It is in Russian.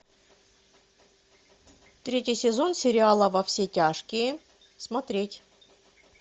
третий сезон сериала во все тяжкие смотреть